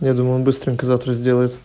я думаю он быстренько завтра сделает